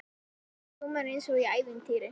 Þetta hljómar eins og í ævintýri.